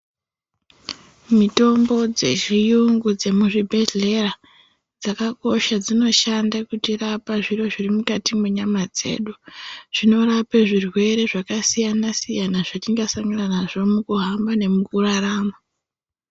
Mitombo dzezviyungu dzemuzvibhedhlera dzakkosha dzinoshande kutirapa , zviro zviri mukati nenyama dzedu , zvinorape zvirwere zvakasiyana siyana zvatingasangana nazvo mukuhamba nemukurarama.